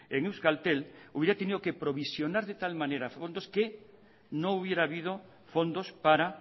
en euskaltel hubiera tenido que provisionar de tal manera fondos que no hubiera habido fondos para